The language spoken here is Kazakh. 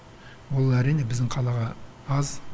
ол әрине біздің қалаға аз